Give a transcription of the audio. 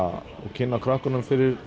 kynna krökkunum fyrir